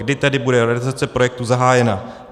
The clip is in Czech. Kdy tedy bude realizace projektu zahájena?